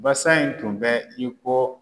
Basa in tun bɛ i ko